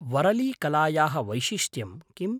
वरलीकलायाः वैशिष्ट्यं किम्?